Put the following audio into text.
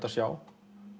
að sjá